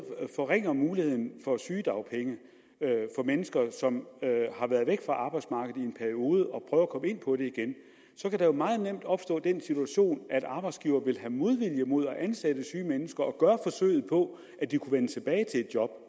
forringer muligheden for sygedagpenge for mennesker som har været væk fra arbejdsmarkedet i en periode og ind på det igen kan der meget nemt opstå den situation at arbejdsgiveren vil have modvilje mod at ansætte syge mennesker og gøre forsøget på at de kunne vende tilbage til et job